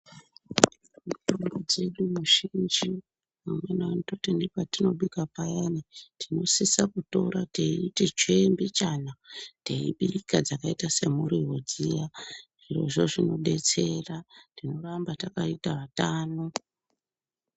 Mitombo dzedu zhinji amweni anototi nepatinobika payani tinosisa kutora teiti tsvee mbichana teibika dxakaita semuriwo dziyani zvirozvo zvinodetsera tinoramba takaite atano.